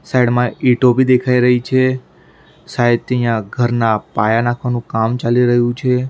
Side માં ઈંટો બી દેખાઈ રહી છે. શાયદ થી અહીંયા ઘરના પાયા નાખવાનું કામ ચાલી રહ્યું છે.